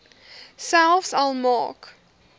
selfs al maak